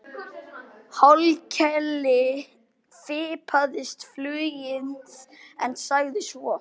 Hallkeli fipaðist flugið en sagði svo